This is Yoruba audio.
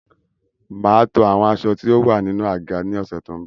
Mà á to àwọn aṣọ tí ó wà nínú àga ní ọ̀sẹ̀ tó ń bọ̀.